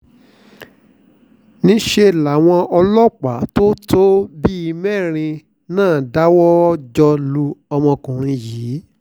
níṣẹ́ làwọn ọlọ́pàá tó tó bíi mẹ́rin náà dáwọ́-jọ lu ọmọkùnrin yìí